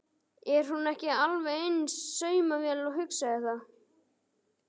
Er hún ekki alveg eins og saumavél, hugsaði það.